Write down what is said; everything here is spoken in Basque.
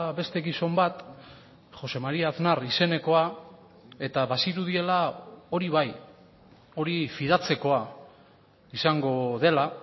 beste gizon bat jose maría aznar izenekoa eta bazirudiela hori bai hori fidatzekoa izango dela